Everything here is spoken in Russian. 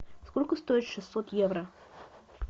сколько стоит шестьсот евро